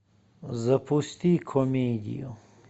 запусти комедию